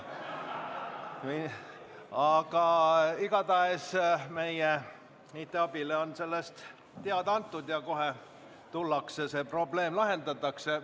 Igatahes meie IT-abile on sellest teada antud ja kohe tullakse kohale, see probleem lahendatakse.